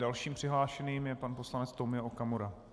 Dalším přihlášeným je pan poslanec Tomio Okamura.